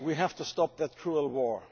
we have to stop that cruel war.